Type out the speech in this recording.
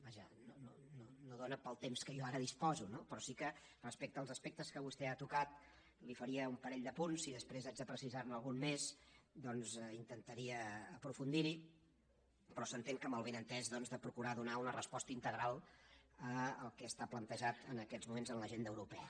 vaja no dóna pel temps que jo ara disposo no però sí que respecte als aspectes que vostè ha tocat li faria un parell d’apunts si després haig de precisar ne algun més doncs intentaria aprofundir hi però s’entén que amb el benentès doncs de procurar donar una resposta integral al que està plantejat en aquests moments en l’agenda europea